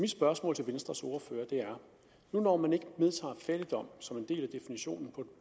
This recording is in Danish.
spørgsmål til venstres ordfører er når man ikke vedtager fattigdom som en del af definitionen på et